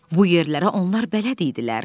Bu yerlərə onlar bələd idilər.